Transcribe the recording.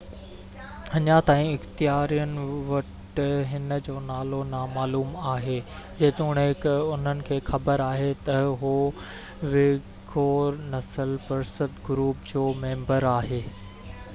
اڃا تائين اختيارين وٽ هن جو نالو نامعلوم آهي جيتوڻيڪ انهن کي خبر آهي ته هو ويگور نسل پرست گروپ جو ميمبر آهي